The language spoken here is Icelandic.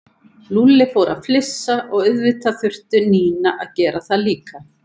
Lúlli fór að flissa og auðvitað þurfti Nína að gera það líka.